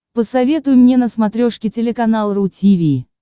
посоветуй мне на смотрешке телеканал ру ти ви